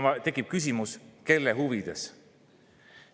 Tekib küsimus, kelle huvides seda tehakse.